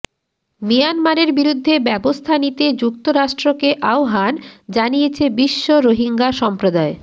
মিয়ানমারের বিরুদ্ধে ব্যবস্থা নিতে যুক্তরাষ্ট্রকে আহ্বান জানিয়েছে বিশ্ব রোহিঙ্গা সম্প্রদায়